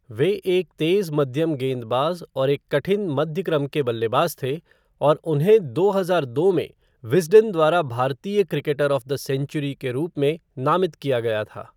वे एक तेज़ मध्यम गेंदबाज और एक कठिन मध्य क्रम के बल्लेबाज़ थे और उन्हें दो हज़ार दो में विज़डन द्वारा भारतीय क्रिकेटर ऑफ़ द सेंचुरी के रूप में नामित किया गया था।